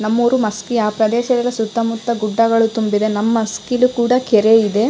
ನಮ್ಮ ಊರು ಮಸ್ಕಿ ಆ ಪ್ರದೇಶ ವಿರುವ ಸುತ್ತ ಮುತ್ತ ಗುಡ್ಡಗಳು ತುಂಬಿದೆ ನಮ್ ಮಸ್ಕಿಲು ಕೂಡ ಕೆರೆ ಇದೆ --